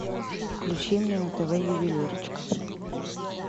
включи мне на тв ювелирочка